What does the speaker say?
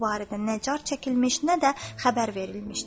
Bu barədə nə car çəkilmiş, nə də xəbər verilmişdir.